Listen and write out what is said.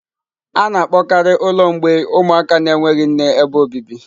A na-akpọkarị ụlọ mgbei ụmụaka na-enweghị nne ebe obibi.